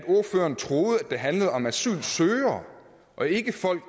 ordføreren troede at det handlede om asylansøgere og ikke folk